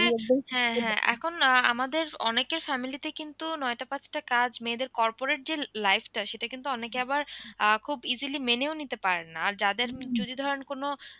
হ্যাঁ হ্যাঁ এখন আমাদের অনেকের family তে কিন্তু নয়টা পাঁচ টা কাজ মেয়েদের corporate যে life টা সেটা কিন্তু অনেকে আবার আহ খুব easily মেনে ও নিতে পারেন না আর যাদের যদি ধরেন কোন,